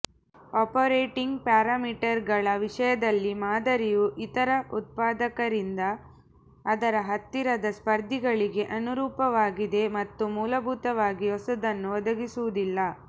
operating ಪ್ಯಾರಾಮೀಟರ್ಗಳ ವಿಷಯದಲ್ಲಿ ಮಾದರಿಯು ಇತರ ಉತ್ಪಾದಕರಿಂದ ಅದರ ಹತ್ತಿರದ ಸ್ಪರ್ಧಿಗಳಿಗೆ ಅನುರೂಪವಾಗಿದೆ ಮತ್ತು ಮೂಲಭೂತವಾಗಿ ಹೊಸದನ್ನು ಒದಗಿಸುವುದಿಲ್ಲ